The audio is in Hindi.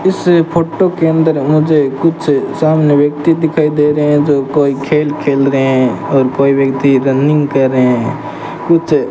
इस फोटो के अंदर मुझे कुछ सामने व्यक्ति दिखाई दे रहे है जो कोई खेल खेल रहे है और कोई व्यक्ति रनिंग कर रहे है कुछ --